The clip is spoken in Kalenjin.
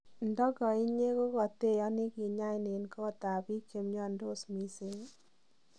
Ndogoinyee kogoteoni kinyai en koot ab biik che miondos mising'?